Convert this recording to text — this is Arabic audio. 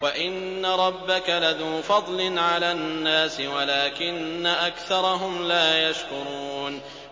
وَإِنَّ رَبَّكَ لَذُو فَضْلٍ عَلَى النَّاسِ وَلَٰكِنَّ أَكْثَرَهُمْ لَا يَشْكُرُونَ